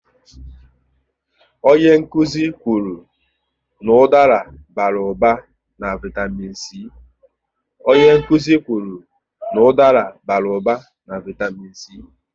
Onye nkụzi kwụrụ n'udara bara ụba na vaitamịn c